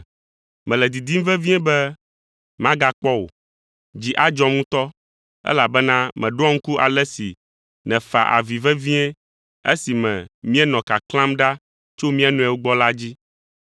Mele didim vevie be magakpɔ wò. Dzi adzɔm ŋutɔ, elabena meɖoa ŋku ale si nèfa avi vevie esime míenɔ kaklãm ɖa tso mía nɔewo gbɔ la dzi.